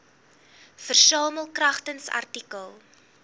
versamel kragtens artikel